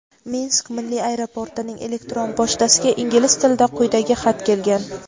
Minsk milliy aeroportining elektron pochtasiga ingliz tilida quyidagi xat kelgan.